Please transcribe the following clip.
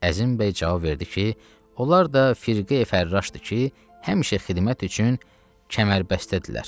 Əzim bəy cavab verdi ki, onlar da firqə-fərraşdır ki, həmişə xidmət üçün kəmərbəstədirlər.